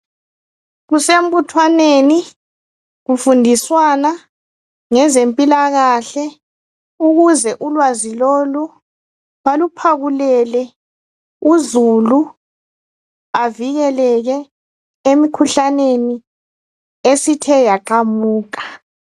Kusembuthwaneni kufundiswana ngezempilakahle ukuze ulwazi lolu baluphakulele uzulu avikeleke emkhuhlaneni esithe yaqamuka.